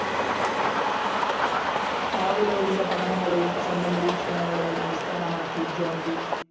പാവ്‌ ലോവിന്റെ പഠനങ്ങളെയും സ്വന്തം നിരീക്ഷണങ്ങളെയും അടിസ്ഥാനമാക്കി ജോൺ ബി.